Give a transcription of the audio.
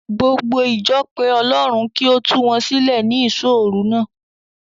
Gbogbo ìjọ pe Ọlọ́run kí ó tu wọn sílẹ̀ ní ìṣóòru náà.